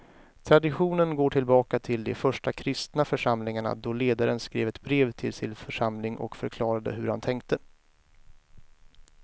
Traditionen går tillbaka till de första kristna församlingarna då ledaren skrev ett brev till sin församling och förklarade hur han tänkte.